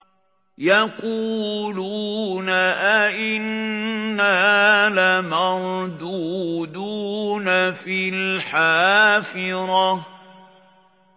يَقُولُونَ أَإِنَّا لَمَرْدُودُونَ فِي الْحَافِرَةِ